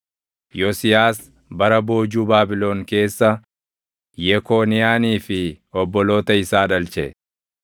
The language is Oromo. Yosiyaas bara boojuu Baabilon keessa, Yekooniyaanii fi obboloota isaa dhalche.